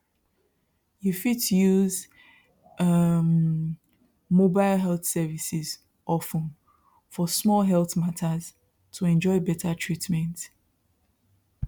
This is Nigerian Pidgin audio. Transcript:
you fit use um mobile health services of ten for small health matters to enjoy better treatment